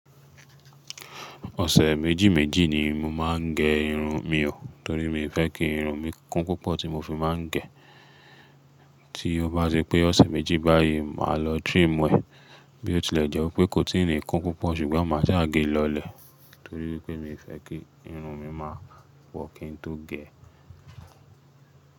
Ọ̀sẹ̀ méjì méjì ni mo máa ń gẹ irun mi o, torí mi ò fẹ́ kí irun mi kún púpọ̀, tí mo fi máa ń gẹ̀. Tí ó bá ti pé ọ̀sẹ̀ méjì báyìí, màá lọ trim ẹ, bí ó tilẹ̀ jẹ́ wí pé kò tíì ní kún púpọ̀, ṣùgbọ́n màá sáà ge lọlẹ̀. Torí wípé mi ò fẹ́ kí irun mi máa pọ̀ ọ́ kí n tó gẹ̀